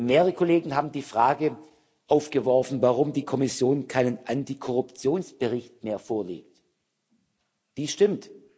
Mehrere Kollegen haben die Frage aufgeworfen, warum die Kommission keinen Antikorruptionsbericht mehr vorlegt Dies stimmt.